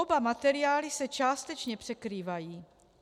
Oba materiály s částečně překrývají.